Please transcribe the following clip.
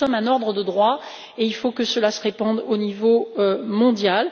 Nous, nous sommes un ordre de droit, et il faut que cela se répande au niveau mondial.